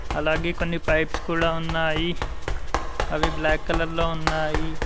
అలాగే కొన్ని పైప్స్ కూడా ఉన్నాయి అవి బ్లాక్ కలర్ లో ఉన్నాయి.